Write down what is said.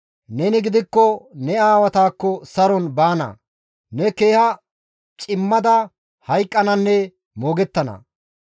Neni gidikko ne aawatakko saron baana; ne keeha cimmada hayqqananne moogettana.